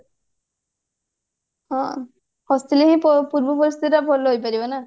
ହଁ ହସିଲେ ହିଁ ତ ପୂର୍ବ ପରିସ୍ଥିତି ଭଲ ହେଇ ପାରିବ ନା